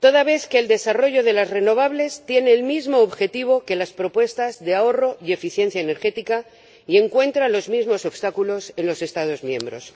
toda vez que el desarrollo de las renovables tiene el mismo objetivo que las propuestas de ahorro y eficiencia energética, y encuentra los mismos obstáculos en los Estados miembros.